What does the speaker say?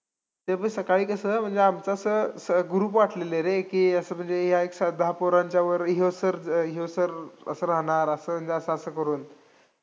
ते बी सकाळी कसं, म्हणजे आमचं असं group वाटलेली रें, की असं म्हणजे या एकसाथ दहा पोरांच्या वर ह्यो sir अं ह्यो sir असं राहणार असं असं करून.